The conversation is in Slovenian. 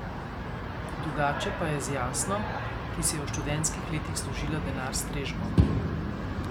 Drugače pa je z Jasno, ki si je v študentskih letih služila denar s strežbo.